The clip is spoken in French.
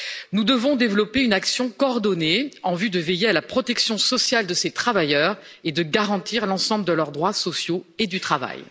Nous devons développer une action coordonnée en vue de veiller à la protection sociale de ces travailleurs et de garantir l'ensemble de leurs droits sociaux et du travail.